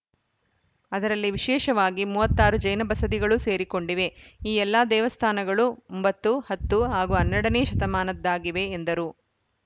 ಅದರಲ್ಲಿ ವಿಶೇಷವಾಗಿ ಮೂವತ್ತ್ ಆರು ಜೈನ ಬಸದಿಗಳೂ ಸೇರಿಕೊಂಡಿವೆ ಈ ಎಲ್ಲ ದೇವಸ್ಥಾನಗಳೂ ಒಂಬತ್ತು ಹತ್ತು ಹಾಗೂ ಹನ್ನೆರಡ ನೇ ಶತಮಾನದ್ದಾಗಿವೆ ಎಂದರು